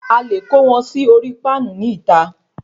A lè kó wọn sí orí Páànù ní ìta